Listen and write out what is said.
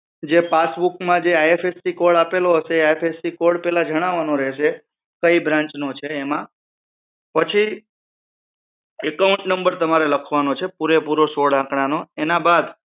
જે પાસબુક માં IFSC code આપેલો હશે એ જણાવાનો રહેશે કયી branch નો છે એમાં પછી એકાઉન્ટ નંબર તમારે લખવાનો છે પુરેપુરો સોડ આંકડા નો એના બાદ